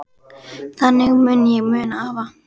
Þannig mun ég muna afa.